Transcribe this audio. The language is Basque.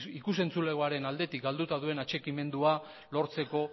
ikus entzulegoaren aldetik galduta duen atxikimendua lortzeko